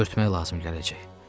Örtmək lazım gələcək.